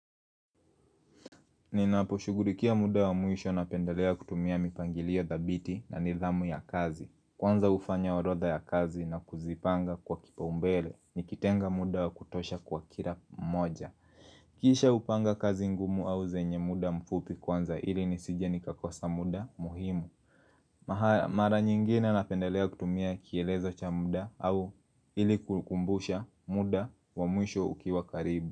Ninaposhugurikia muda wa mwisho napendelea kutumia mipangilio thabiti na nidhamu ya kazi Kwanza hufanya orodha ya kazi na kuzipanga kwa kipaumbele nikitenga muda wa kutosha kwa kila mmoja Kisha hupanga kazi ngumu au zenye muda mfupi kwanza ili nisije nikakosa muda muhimu Mara nyingine napendelea kutumia kielezo cha muda au ili kukumbusha muda wa mwisho ukiwa karibu.